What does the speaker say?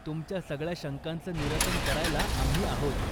तुमच्या सगळ्या शंकांचं निरसन करायला आम्ही आहोत.